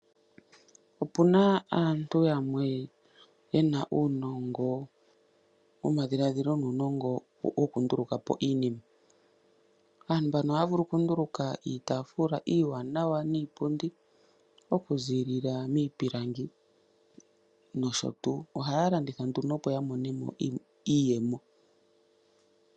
Opuna aantu yamwe yena uunongo womadhiladhilo nuunongo wokunduluka po iinima. Aantu mbano ohaya vulu okunduluka iitaafula iiwanawa niipundi okuziilila miipilangi nosho tuu. Ohaya landitha nduno opo yamone mo iiyemo.